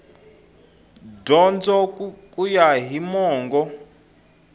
dyondzo ku ya hi mongo